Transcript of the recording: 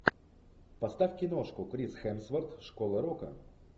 поставь киношку крис хемсворт школа рока